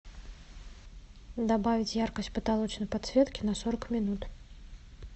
добавить яркость потолочной подсветки на сорок минут